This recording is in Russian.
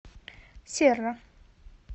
серра